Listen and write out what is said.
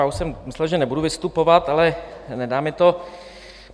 Já už jsem myslel, že nebudu vystupovat, ale nedá mi to.